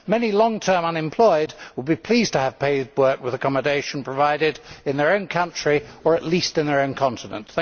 Many long term unemployed would be pleased to have paid work with accommodation provided in their own country, or at least in their own continent.